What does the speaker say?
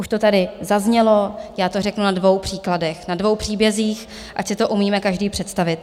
Už to tady zaznělo, já to řeknu na dvou příkladech, na dvou příbězích, ať si to umíme každý představit.